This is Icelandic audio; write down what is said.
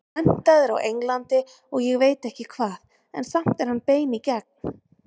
Menntaður á Englandi og ég veit ekki hvað, en samt er hann bein í gegn.